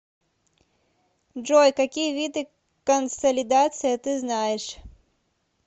джой какие виды консолидация ты знаешь